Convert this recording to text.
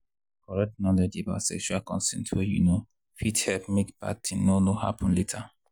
correct knowledge about sexual consent way you know fit help make bad thing no no happen later.